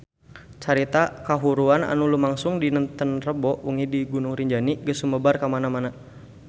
Carita kahuruan anu lumangsung dinten Rebo wengi di Gunung Rinjani geus sumebar kamana-mana